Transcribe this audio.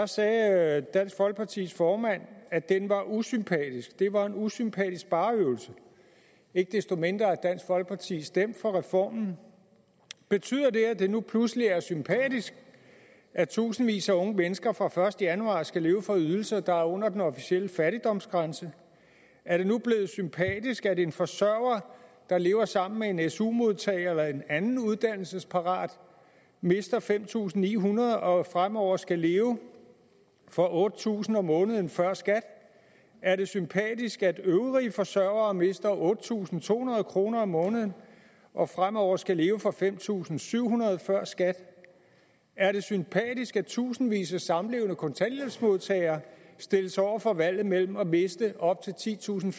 sagde dansk folkepartis formand at den var usympatisk det var en usympatisk spareøvelse ikke desto mindre har dansk folkeparti stemt for reformen betyder det at det nu pludselig er sympatisk at tusindvis af unge mennesker fra første januar skal leve for ydelser der er under den officielle fattigdomsgrænse er det nu blevet sympatisk at en forsørger der lever sammen med en su modtager eller en anden uddannelsesparat mister fem tusind ni hundrede kroner og fremover skal leve for otte tusind kroner om måneden før skat er det sympatisk at øvrige forsørgere mister otte tusind to hundrede kroner om måneden og fremover skal leve for fem tusind syv hundrede før skat er det sympatisk at tusindvis af samlevende kontanthjælpsmodtagere stilles over for valget mellem at miste op til titusinde